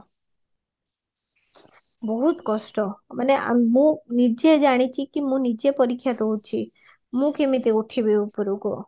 ବହୁତ କଷ୍ଟ ମାନେ ଆମେ ମୁଁ ନିଜେ ଜାଣିଛି କି ମୁଁ ନିଜେ ପରୀକ୍ଷା ଦଉଚି ମୁଁ କିମିତି ଉଠିବି ଉପରକୁ